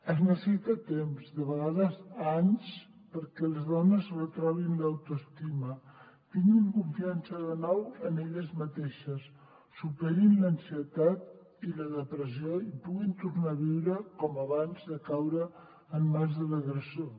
es necessita temps de vegades anys perquè les dones retroben l’autoestima tinguin confiança de nou en elles mateixes superin l’ansietat i la depressió i puguin tornar a viure com abans de caure en mans de l’agressor